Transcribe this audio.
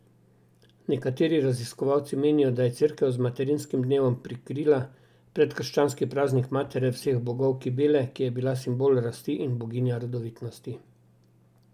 Nekateri raziskovalci menijo, da je Cerkev z materinskim dnevom prekrila predkrščanski praznik matere vseh bogov Kibele, ki je bila simbol rasti in boginja rodovitnosti.